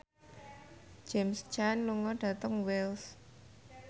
James Caan lunga dhateng Wells